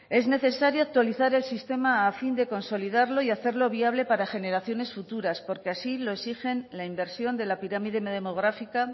es necesario actualizar el sistema a fin de consolidarlo y hacerlo viable para generaciones futuras porque así lo exigen la inversión de la pirámide demográfica